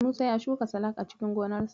Musa ya shuka salak a cikin gonarsa.